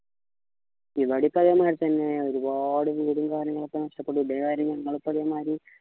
ഇവിടെ ഒക്കെ അതെ മാരി തന്നെ ഒരുപാട് വീടും കാര്യങ്ങളൊക്കെ നഷ്ടപ്പെട്ടു ഇതേമാരി ഇങ്ങളൊക്കെ മാരി